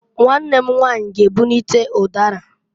Nwanne m nwanyị g'ebunite ụdara.